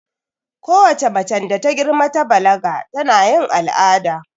Kowace macen da ta girma ta balaga tana yin al'ada